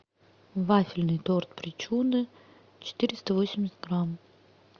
вафельный торт причуда четыреста восемьдесят грамм